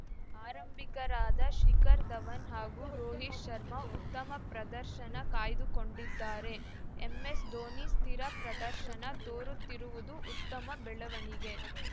ಆರಂಭಿಕರಾದ ಶಿಖರ್‌ ಧವನ್‌ ಹಾಗೂ ರೋಹಿತ್‌ ಶರ್ಮಾ ಉತ್ತಮ ಪ್ರದರ್ಶನ ಕಾಯ್ದುಕೊಂಡಿದ್ದಾರೆ ಎಂಎಸ್‌ಧೋನಿ ಸ್ಥಿರ ಪ್ರದರ್ಶನ ತೋರುತ್ತಿರುವುದು ಉತ್ತಮ ಬೆಳೆವಣಿಗೆ